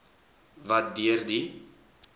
wat deur die